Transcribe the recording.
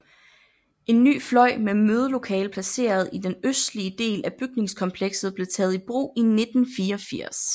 En ny fløj med mødelokale placeret i den østlige del af bygningskomplekset blev taget i brug i 1984